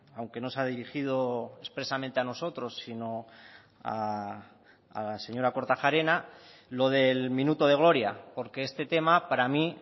aunque no se ha dirigido expresamente a nosotros sino a la señora kortajarena lo del minuto de gloria porque este tema para mí